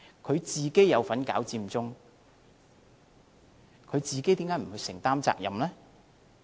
他有份搞佔中，為何不去承擔責任呢？